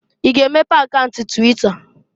I ga-emepe akaunt twita!